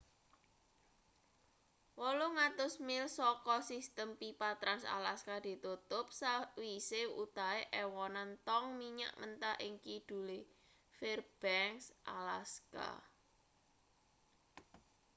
800 mil saka sistem pipa trans-alaska ditutup sakwise wutahe ewonan tong minyak mentah ing kidule fairbanks alaska